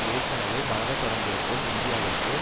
ஏற்கனவே மலரத் தொடங்கியிருக்கும் இந்தியாவிற்கு